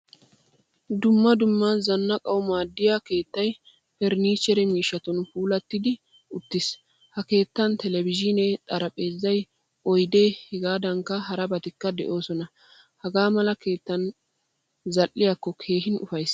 Dumma dumma zanaaqqanawu maaddiyaa keettay furnichchere miishshattun puulattidi uttiis. Ha keettan televizhiinee, xaraphphpeezzay, oydde hegankka harabatikka deosona. Hagaamala keettan zal'iyakko keehin ufayssees.